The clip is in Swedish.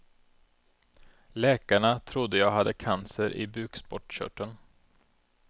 Läkarna trodde jag hade cancer i bukspottskörteln.